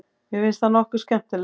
Mér finnst það nokkuð skemmtilegt.